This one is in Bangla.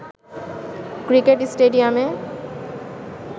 ক্রিকেট স্টেডিয়ামে